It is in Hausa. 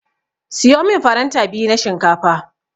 Siyo min faranta biyu na shinkafa.